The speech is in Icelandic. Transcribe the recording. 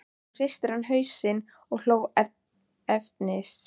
Helga: Er ríkisstjórnarsamstarfið í hættu með þessari ákvörðun þinni Þórunn?